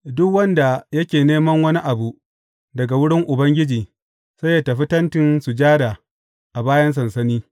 Duk wanda yake neman wani abu daga wurin Ubangiji sai yă tafi Tentin Sujada a bayan sansani.